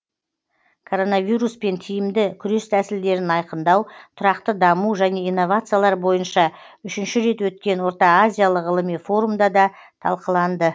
коронавируспен тиімді күрес тәсілдерін айқындау тұрақты даму және инновациялар бойынша үшінші рет өткен орта азиялық ғылыми форумда да талқыланды